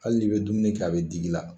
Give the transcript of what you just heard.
Hali ni be dumuni kɛ a be digi i la.